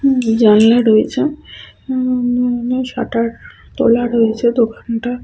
জানলা রয়েছে উম উম শাটার তোলা রয়েছে দোকানটার।